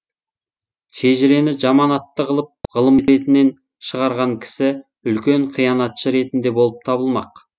шежірені жаман атты қылып ғылым ретінен шығарған кісі үлкен қиянатшы ретінде болып табылмақ